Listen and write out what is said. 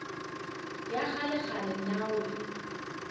ya kgalekgale na o e